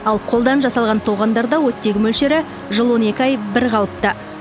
ал қолдан жасалған тоғандарда оттегі мөлшері жыл он екі ай бірқалыпты